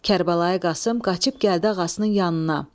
Kərbəlayı Qasım qaçıb gəldi ağasının yanına.